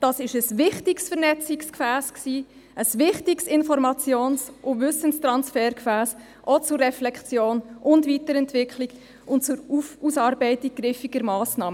Das war ein wichtiges Vernetzungsgefäss, ein wichtiges Informations- und Wissenstransfergefäss, auch zur Reflexion und Weiterentwicklung und zur Ausarbeitung griffiger Massnahmen.